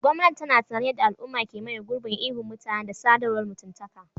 Gwamnati tana tunanin yadda al'umma ke maye gurbin ihun mutane da sadarwar mutuntaka.